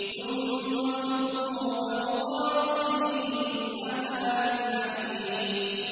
ثُمَّ صُبُّوا فَوْقَ رَأْسِهِ مِنْ عَذَابِ الْحَمِيمِ